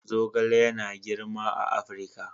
Zogale yana girma a Afirka.